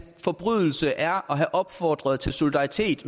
forbrydelse er at have opfordret til solidaritet